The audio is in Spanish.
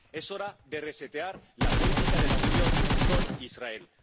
Es hora de resetear la política de la Unión con Israel.